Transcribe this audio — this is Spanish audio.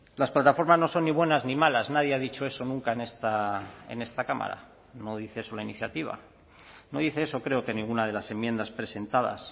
las plataformas no son ni buenas ni malas nadie ha dicho eso nunca en esta cámara no dice eso la iniciativa no dice eso creo que ninguna de las enmiendas presentadas